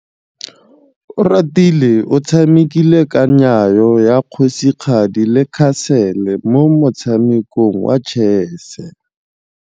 Oratile o tshamekile kananyô ya kgosigadi le khasêlê mo motshamekong wa chess.